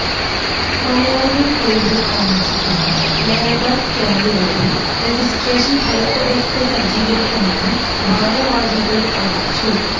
മലയാളികൾ കൂടുതൽ താമസിക്കുന്ന ലേബർ ക്യാംപുകളിലും റജിസ്ട്രേഷൻ ഹെൽപ് ഡെസ്ക് സജ്ജീകരിക്കുമെന്നു ഭാര വാഹികൾ അറിയിച്ചു